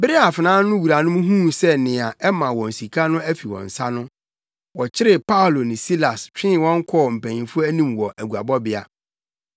Bere a afenaa no wuranom huu sɛ nea ɛma wɔn sika no afi wɔn nsa no, wɔkyeree Paulo ne Silas twee wɔn kɔɔ mpanyimfo anim wɔ aguabɔbea.